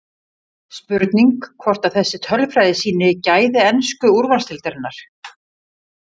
Spurning hvort að þessi tölfræði sýni gæði ensku úrvalsdeildarinnar?